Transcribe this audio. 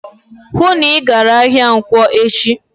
"Hụụ na Ị gara ahịa nkwọ echi!"